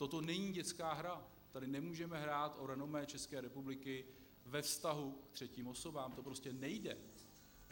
Toto není dětská hra, tady nemůžeme hrát o renomé České republiky ve vztahu k třetím osobám, to prostě nejde.